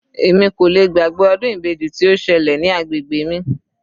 Èmi kò lè gbàgbé ọdún ibeji tí ó ṣẹlẹ̀ ní agbègbè mi.